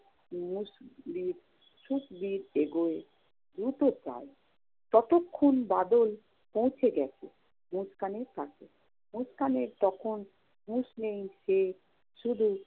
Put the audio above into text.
মুষবির~ সুখবীর এগোয় দ্রুত পায়ে। ততক্ষণ বাদল পৌঁছে গেছে মুস্কানের কাছে। মুস্কানের তখন হুশ নেই। সে শুধু